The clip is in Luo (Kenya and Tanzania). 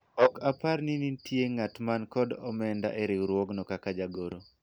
ok apar ni nitie ng'at man kod omenda e rigwruogno kaka jagoro